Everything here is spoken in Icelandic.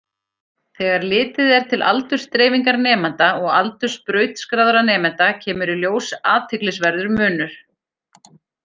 Þegar litið er til aldursdreifingar nemenda og aldurs brautskráðra nemenda kemur í ljós athyglisverður munur.